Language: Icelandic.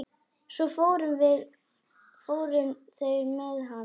Svo fóru þeir með hann.